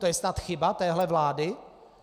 To je snad chyba téhle vlády?